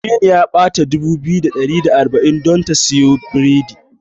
Aminu ya bata nera dubu biyu da ɗari da arba'in don ta siyo biredi.